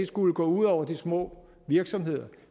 skulle gå ud over de små virksomheder